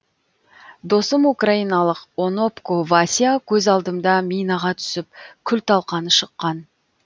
досым украиналық онопко вася көз алдымда минаға түсіп күлталқаны шыққан